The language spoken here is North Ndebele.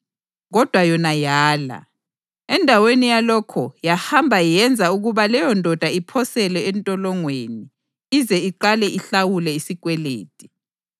Kodwa yona yala. Endaweni yalokho, yahamba yenza ukuba leyondoda iphoselwe entolongweni ize iqale ihlawule isikwelede.